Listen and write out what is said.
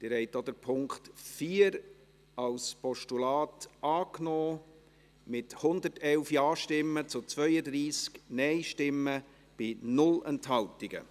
Sie haben auch den Punkt 4 als Postulat angenommen, mit 111 Ja- gegen 32 NeinStimmen bei 0 Enthaltungen.